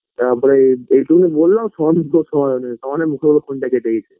তারপরে এইটুকুনি বোললাম phone -তো সমানেমুখের ওপরে phone -টা কেটে দিয়েছে